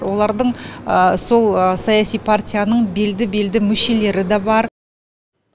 олардың сол саяси партияның белді белді мүшелері де бар